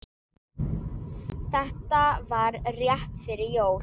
Þetta var rétt fyrir jól.